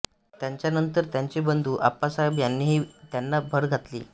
त्यांच्यानंतर त्यांचे बंधू आप्पासाहेब यांनीही त्यांत भर घातली